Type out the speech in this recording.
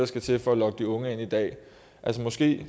skal til for at lokke de unge ind i dag altså måske